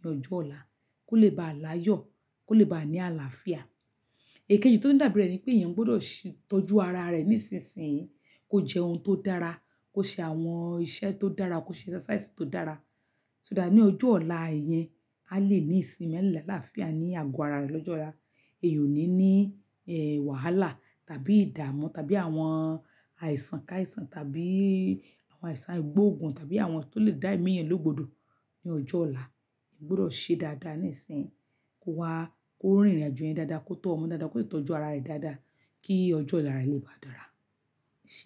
ní ọjọ́ ọ̀la, kó lè bá láyọ̀, kó lè bá ní àlàáfíà. Èkéjì tó dàbí rẹ̀ ni pé èèyàn gbọ́dọ̀ ṣí tọ́jú ara rẹ̀ nísinsìnyí. Kó jẹ ohun tó dára, kó ṣe àwọn iṣẹ́ tó dára, kó ṣe exercise tó dára. So dá ní ọjọ́ ọ̀la ìyẹn á lè ní ìsinmi, ní àlàáfíà, ní àgọ́ ara rẹ̀ lọ́jọ́ ọ̀la. Èèyàn ò ní ní, eh, wàhálà, tàbí ìdámu, tàbí àwọn àìsàn káìsàn, tàbí àwọn àìsàn aigbógun, tàbí àwọn tó lè dá ẹ̀mí èèyàn lógbodò ní ọjọ́ ọ̀la. Èèyàn gbọ́dọ̀ ṣe dáadáa níìsín, kó wá, kó rín ìrìnàjò yẹn dáadáa, kó tọ́ ọmọ dáadáa, kó tọ́jú ara rẹ̀ dáadáa kí ọjọ́ ọ̀la rẹ̀ lè bá dára, ẹ ṣe.